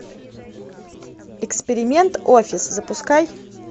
эксперимент офис запускай